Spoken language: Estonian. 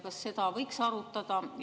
Kas seda võiks arutada?